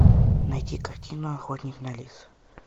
найти картину охотник на лис